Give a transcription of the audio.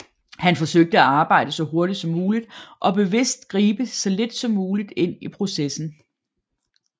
Han forsøgte at arbejde så hurtigt som muligt og bevidst gribe så lidt som muligt ind i processen